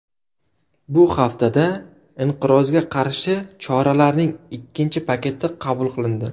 Bu haftada inqirozga qarshi choralarning ikkinchi paketi qabul qilindi .